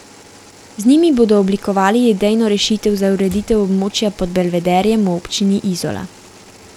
Z njimi bodo oblikovali idejno rešitev za ureditev območja pod Belvederjem v občini Izola.